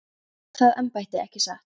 Og þeir sem veita það embætti, ekki satt?